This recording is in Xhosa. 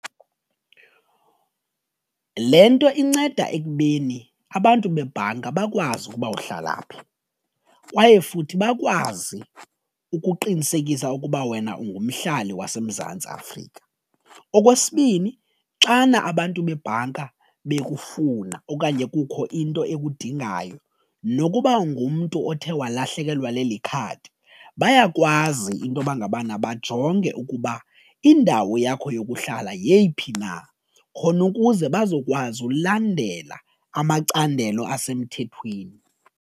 Le nto inceda ekubeni abantu bebhanka bakwazi ukuba uhlala phi kwaye futhi bakwazi ukuqinisekisa ukuba wena ungumhlali waseMzantsi Afrika. Okwesibini xana abantu bebhanka bekufuna okanye kukho into ekudingayo nokuba ngumntu othe walahlekelwa leli khadi bayakwazi intoba ngabana bajonge ukuba indawo yakho yokuhlala yeyiphi na khona ukuze bazokwazi ulandela amacandelo asemthethweni.